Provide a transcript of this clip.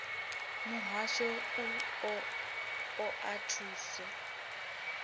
muhasho u o oa thuso